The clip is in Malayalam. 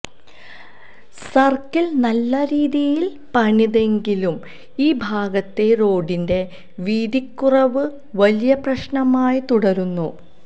സർക്കിൾ നല്ല രീതിയിൽ പണിതെങ്കിലും ഈ ഭാഗത്തെ റോഡിന്റെ വീതിക്കുറവ് വലിയ പ്രശ്നമായി തുടരുന്നു